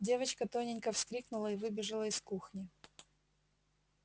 девочка тоненько вскрикнула и выбежала из кухни